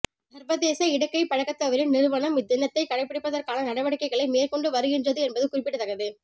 சர்வதேச இடக்கை பழக்கத்தவரின் நிறுவனம் இத்தினத்தை கடைபிடிப்பதற்கான நடவடிக்கைகளை மேற்கொண்டு வருகின்றது என்பது குறிப்பிடத்தக்கது